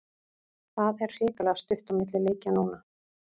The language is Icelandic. Það er hrikalega stutt á milli leikja núna.